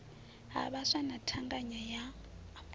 ha vhaswa na thangana ya